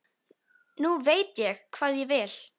Nú veit ég hvað ég vil.